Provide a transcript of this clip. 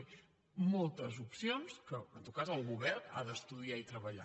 és a dir moltes opcions que en tot cas el govern ha d’estudiar i treballar